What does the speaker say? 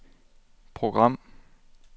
program